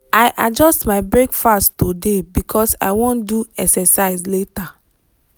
i adjust my breakfast today because i wan do exercise later.